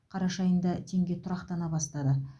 қараша айында теңге тұрақтана бастады